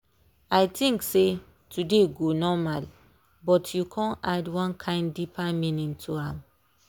i think say today go normal but you con add one kain deeper meaning to am.